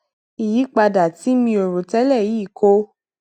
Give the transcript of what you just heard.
ìyípadà tí mi ò rò télè yìí kó